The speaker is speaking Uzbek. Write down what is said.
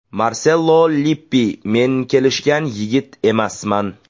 Marchello Lippi Men kelishgan yigit emasman.